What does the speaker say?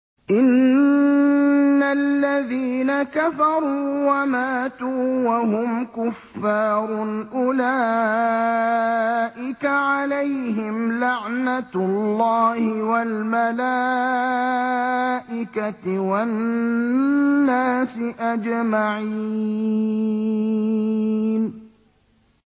إِنَّ الَّذِينَ كَفَرُوا وَمَاتُوا وَهُمْ كُفَّارٌ أُولَٰئِكَ عَلَيْهِمْ لَعْنَةُ اللَّهِ وَالْمَلَائِكَةِ وَالنَّاسِ أَجْمَعِينَ